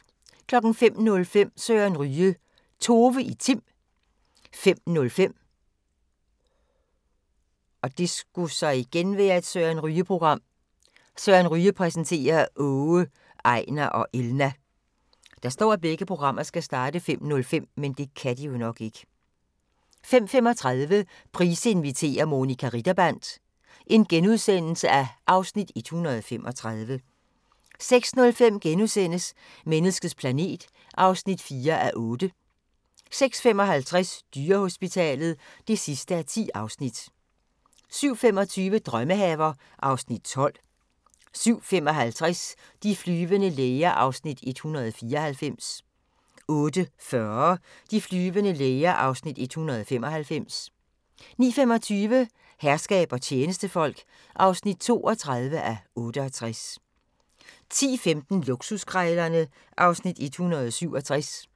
05:05: Søren Ryge: Tove i Tim 05:05: Søren Ryge præsenterer: Åge, Ejnar og Elna 05:35: Price inviterer – Monica Ritterband (Afs. 135)* 06:05: Menneskets planet (4:8)* 06:55: Dyrehospitalet (10:10) 07:25: Drømmehaver (Afs. 12) 07:55: De flyvende læger (194:224) 08:40: De flyvende læger (195:224) 09:25: Herskab og tjenestefolk (32:68) 10:15: Luksuskrejlerne (Afs. 167)